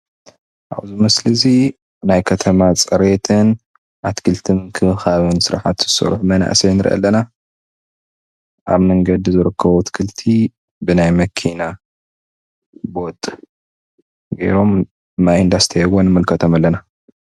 ኣብዚ ምስሊ እዚ ናይ ከተማ ፅሬትን ኣትክልቲ ምክብካብን ስራሕቲ ዝሰርሑ መናእሰይ ንርኢ ኣለና ኣብ መንገዲ ዝርከቡ ኣትክልቲ ብናይ መኪና ቦጥ ጌሮም ማይ እንዳስተይዎም ንምልከት ኣለና፡፡